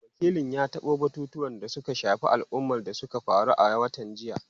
Wakilin ya tabo batutuwan da suka shafi al’umma da suka faru a watan jiya.